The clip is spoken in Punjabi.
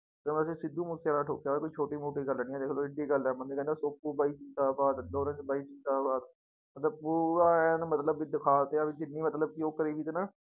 ਤੇ ਅਸੀਂ ਸਿੱਧੂ ਮੂਸੇਵਾਲਾ ਠੋਕਿਆ ਕੋਈ ਛੋਟੀ ਮੋਟੀ ਗੱਲ ਨੀ ਹੈ ਦੇਖ ਲਓ ਇੱਡੀ ਗੱਲ ਹੈ ਕਹਿੰਦਾ ਸੋਪੂ ਬਾਈ ਜ਼ਿੰਦਾਬਾਦ ਲੋਰੈਂਸ ਬਾਈ ਜ਼ਿੰਦਾਬਾਦ ਮਤਲਬ ਪੂਰਾ ਐਨ ਮਤਲਬ ਵੀ ਦਿਖਾ ਦਿੱਤਾ ਵੀ ਜਿੰਨੀ ਮਤਲਬ ਕਿ ਉਹ ਕਰੀ ਸੀ ਨਾ